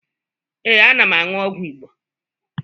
Ee, ana m aṅụ ọgwụ Igbo